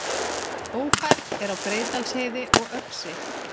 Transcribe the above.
Ófært er á Breiðdalsheiði og Öxi